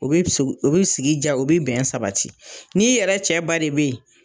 O bɛ sigi ja, o bɛ bɛn sabati n'i yɛrɛ cɛ ba de bɛ yen.